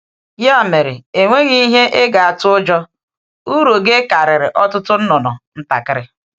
Ya mere, e nweghị ihe ị ga-atụ ụjọ: uru gị karịrị ọtụtụ nnụnụ ntakịrị.